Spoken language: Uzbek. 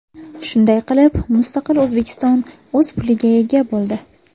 Shunday qilib, mustaqil O‘zbekiston o‘z puliga ega bo‘ldi.